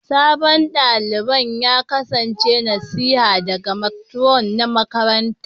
Sabon dalibin ya kasance nasiha daga Matron na makarantar